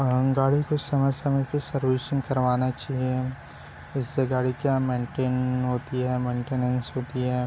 गाड़ी की समय-समय पे सर्विसिंग करवाना चाहिए इससे गाड़ी क्या मेन्टेन होती हैं क्या मेंटेनेंस होती हैं।